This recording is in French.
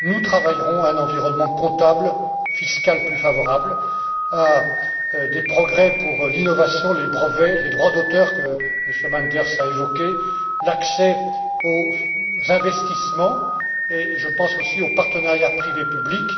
Nous travaillerons à un environnement comptable fiscal plus favorable, à des progrès pour l'innovation, les brevets, les droits d'auteur que M. Manders a évoqués l'accès aux investissements et, je pense, aussi au partenariat privé public.